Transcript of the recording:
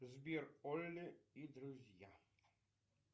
сбер олли и друзья